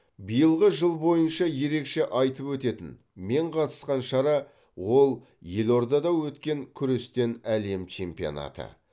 биылғы жыл бойынша ерекше айтып өтетін мен қатысқан шара ол елордада өткен күрестен әлем чемпионаты